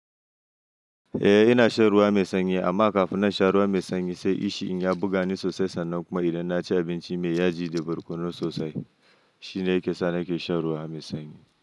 Eh ina shan ruwa mai sanyi amma kafin na sha ruwa mai sanyi sai ishin ya buga ni sosai sannan kuma idan na ci abinci mai yaji da barkono sosai shine yake sa na ke shan ruwa mai sanyi.